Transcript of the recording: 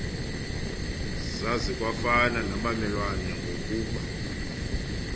zazikwafana nabamelwane ngokumba